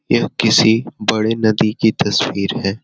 यह किसी बड़े नदी की तस्वीर है।